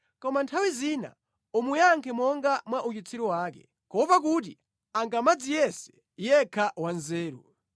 Koma nthawi zina umuyankhe monga mwa uchitsiru wake, kuopa kuti angamadziyese yekha wanzeru.